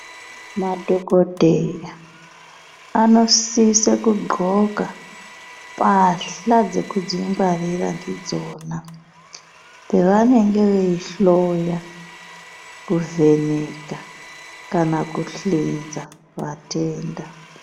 Madhokodheya anosise kudhloka mbasha dzekudzingwarira ndidzona pavanenge veihloya kuvheneka kana kuhlenza vatenda.